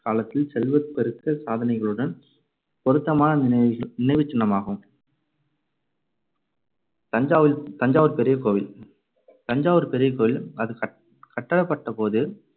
காலத்தில் செல்வப் பெருக்கச் சாதனைகளுடன் பொருத்தமான நினை~ நினைவுச் சின்னமாகும். தஞ்சாவில்~ தஞ்சாவூர் பெரிய கோவில் தஞ்சாவூர் பெரிய கோவில் அது கட்~ கட்டப்பட்டபோது